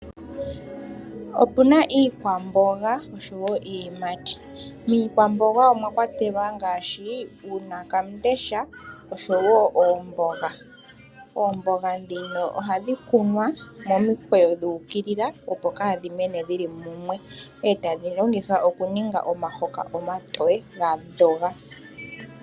Opuna iikwamboga niiyimati, miikwamboga omwakwatelwa ngaashi uunakambesha noomboga, oomboga ndhino ohadhi kunwa momi kweyo dhuukilila opo kaadhi mene dhili mumwe etadhi longithwa okuninga omahoka omatoye gadhoga.